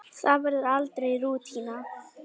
Það verður aldrei rútína.